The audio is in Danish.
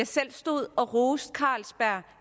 selv stod og roste carlsberg